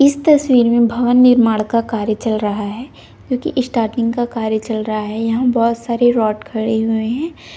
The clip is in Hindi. इस तस्वीर मे भवन निर्माण का कार्य चल रहा है क्योंकि स्टार्टिंग का कार्य चल रहा है यहाँ बहोत सारे रॉड खड़े हुए है।